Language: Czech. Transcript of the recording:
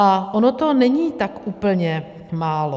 A ono to není tak úplně málo.